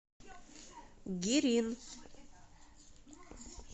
гирин